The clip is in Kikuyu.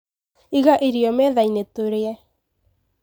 Iga irio methainĩ tũrĩe